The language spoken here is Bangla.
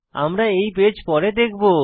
আমরা এই পেজ পরে দেখব